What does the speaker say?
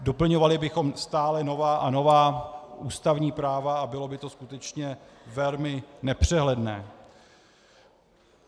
Doplňovali bychom stále nová a nová ústavní práva a bylo by to skutečně velmi nepřehledné.